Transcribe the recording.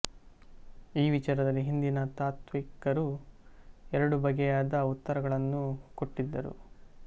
ಈ ವಿಚಾರದಲ್ಲಿ ಹಿಂದಿನ ತಾತ್ತ್ವಿಕರು ಎರಡು ಬಗೆಯಾದ ಉತ್ತರಗಳನ್ನೂ ಕೊಟ್ಟಿದ್ದರು